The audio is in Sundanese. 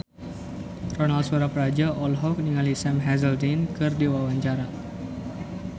Ronal Surapradja olohok ningali Sam Hazeldine keur diwawancara